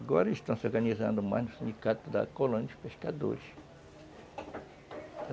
Agora estão se organizando mais no sindicato da colônia dos pescadores.